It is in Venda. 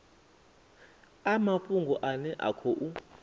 a mafhungo ane a khou